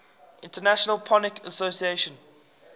international phonetic association